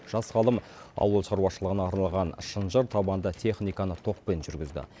жас ғалым ауыл шаруашылығына арналған шынжыртабанды техниканы токпен жүргізді